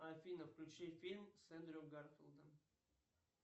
афина включи фильм с эндрю гарфилдом